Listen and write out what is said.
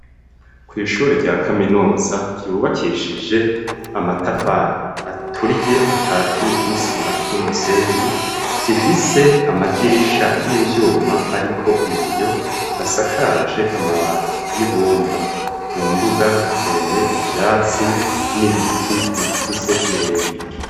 Kw'ishuri rya kaminuza ryubakishije amatafari aturiye akatiye n'isima n'umusenyi, zifise amadirisha y'ivyuma ariko ibiyo hasakaje amabati y'ibumba, mu mbuga hateye ivyatsi n'ibiti bikuze birebire.